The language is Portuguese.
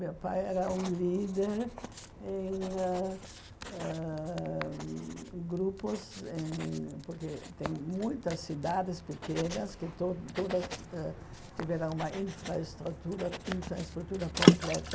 Meu pai era um líder em ãh ãh grupos em, porque tem muitas cidades pequenas que to todas ãh tiveram uma infraestrutura infraestrutura completa.